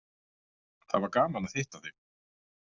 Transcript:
Það var gaman að hitta þig.